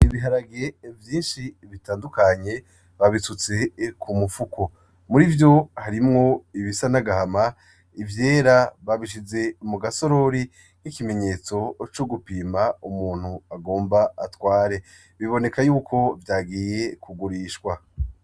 Ibiharage vyinshi bitandukanye babisutse ku mufuko. Muri vyo harimwo ibisa n'agahama, ivyera babishize mu gasorori nk'ikimenyetso c'ugupima umuntu agomba atware. Biboneka yuko vyagiye kugurishwa.